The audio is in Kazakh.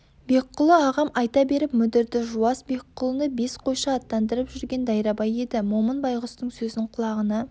бекқұлы ағам айта беріп мүдірді жуас бекқұлыны бес қойшы аттандырып жүрген дайрабай еді момын байғұстың сөзін құлағына